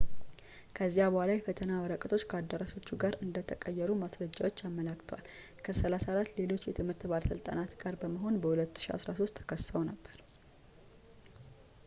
ከዚያ በኋላ የፈተና ወረቀቶች ከአዳራሾቹ ጋር እንደተቀየሩ ማስረጃዎች አመላክተዋል ከ 34 ሌሎች የትምህርት ባለሥልጣናት ጋር በመሆን በ 2013 ተከሰው ነበር